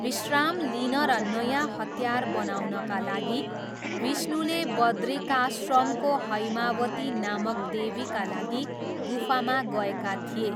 विश्राम लिन र नयाँ हतियार बनाउनका लागि, विष्णुले बद्रिकाश्रमको हैमावती नामक देवीका लागि गुफामा गएका थिए।